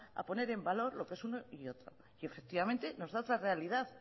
a poner en valor lo que es uno y otro y efectivamente nos de otra realidad